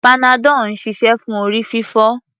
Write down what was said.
Panadol ń ṣiṣẹ́ fún orí-fífọ́.